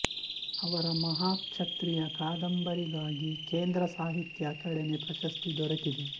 ಅವರ ಮಹಾಕ್ಷತ್ರಿಯ ಕಾದಂಬರಿಗಾಗಿ ಕೇಂದ್ರ ಸಾಹಿತ್ಯ ಅಕಾಡೆಮಿ ಪ್ರಶಸ್ತಿ ದೊರೆತಿದೆ